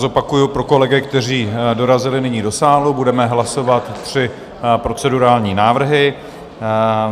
Zopakuji pro kolegy, kteří dorazili nyní do sálu, budeme hlasovat tři procedurální návrhy.